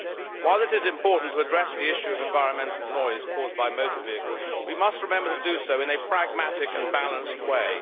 While it is important to address the issue of environmental noise caused by motor vehicles, we must remember to do so in a pragmatic and balanced way.